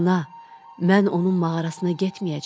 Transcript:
Ana, mən onun mağarasına getməyəcəm.